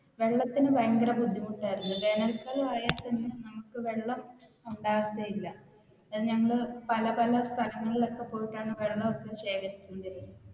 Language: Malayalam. വെള്ളത്തിന് ഭയങ്കര ബുദ്ധിമുട്ടായിരുന്നു വേനൽ കാലം ആയാൽ പിന്നെ നമുക്ക് വെള്ളം ഉണ്ടാവത്തെയില്ല ഞങ്ങൾ പല പല സ്ഥലത്തിൽ ഒക്കെ പോയിട്ടാണ് വെള്ളം ഒക്കെ ശേഖരിക്കുന്നത്.